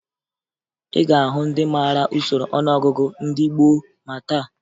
Ị ga-ahụ ndị mara usoro ọnụọgụgụ ndị gboo ma taa